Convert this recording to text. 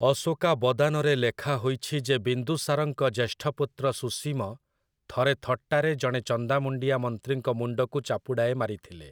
ଅଶୋକାବଦାନ'ରେ ଲେଖାହୋଇଛି ଯେ ବିନ୍ଦୁସାରଙ୍କ ଜ୍ୟେଷ୍ଠ ପୁତ୍ର ସୁସୀମ ଥରେ ଥଟ୍ଟାରେ ଜଣେ ଚନ୍ଦାମୁଣ୍ଡିଆ ମନ୍ତ୍ରୀଙ୍କ ମୁଣ୍ଡକୁ ଚାପୁଡ଼ାଏ ମାରିଥିଲେ ।